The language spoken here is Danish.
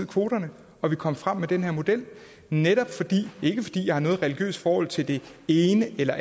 kvoterne og vi kom frem med den her model ikke fordi jeg har noget religiøst forhold til det ene eller